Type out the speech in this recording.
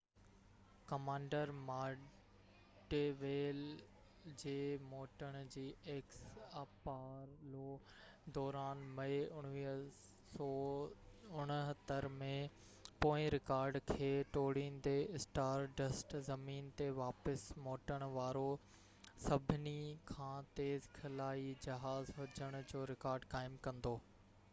Apollo x commander module جي موٽڻ جي دوران مئي 1969 ۾ پوئين رڪارڊ کي ٽوڙيندي اسٽار ڊسٽ زمين تي واپس موٽڻ وارو سڀني کان تيز خلائي جهاز هجڻ جو رڪارڊ قائم ڪندو